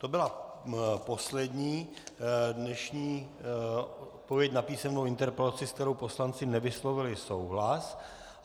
To byla poslední dnešní odpověď na písemnou interpelaci, se kterou poslanci nevyslovili souhlas.